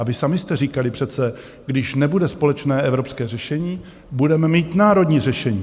A vy sami jste říkali přece, když nebude společné evropské řešení, budeme mít národní řešení.